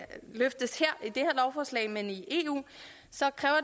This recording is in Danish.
løftes i men i eu så kræver